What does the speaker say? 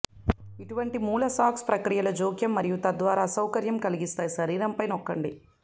ఇటువంటి మూల సాక్స్ ప్రక్రియలో జోక్యం మరియు తద్వారా అసౌకర్యం కలిగిస్తాయి శరీరంపై నొక్కండి